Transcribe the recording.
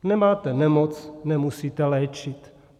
Nemáte nemoc, nemusíte léčit.